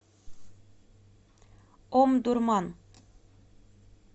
омдурман